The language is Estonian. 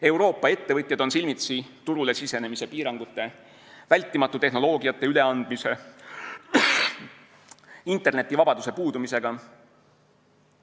Euroopa ettevõtjad on silmitsi turule sisenemise piirangute, vältimatu tehnoloogiate üleandmise, internetivabaduse puudumisega.